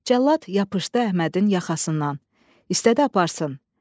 Cəllad yapışdı Əhmədin yaxasından, istədi aparsın.